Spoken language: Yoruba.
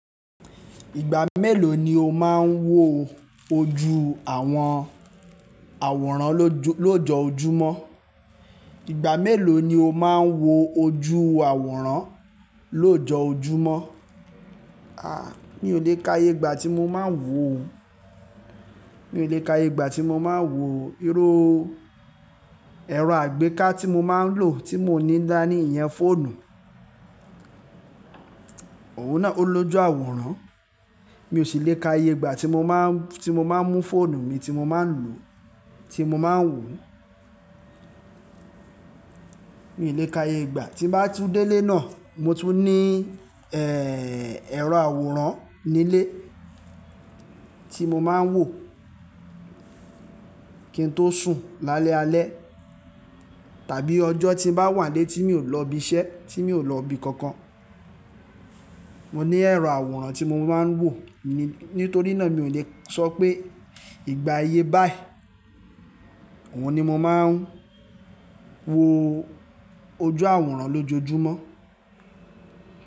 Ìgbà mélòó ni o máa ń wo ojú àwọn àwòrán lójoo lojoojúmọ́? Ìgbà mélòó ni o máa ń wo ojú àwòrán lójoojúmọ́? Mi ò lè ka iye ìgbà tí mo máa ń wò, mi ò lè ka iye ìgbà tí mo máa ń wò. Irú, ẹ̀rọ àgbéká tí mo máa ń lò tí mo ní dání ìyẹn fóònù, òun náà ó lojú àwòrán. Mi ò sì lè ka iye ìgbà tí mo máa ń, tí mo máa ń mú fóònù mi tí mo máa ń lò, tí mo máa ń wò. Mi ò lè ka iye ìgbà, tí bá tú délé náà mo tún ní, ẹ̀rọ àwòrán nílé tí mo máa ń wò kí n tó sùn lálẹ́ alẹ́. Tàbí ọjọ́ tí ń bá wà nílé tí mi ò lọ ibi iṣẹ́, tí mi ò lọ ibi kankan, mo ní ẹ̀rọ àwòrán tí mo máa ń wò. Ni, nítorí náà mi ò lè sọ pé ìgbà iyé báyìí, òun ni mo máa ń wo ojú àwòrán lójoojúmọ́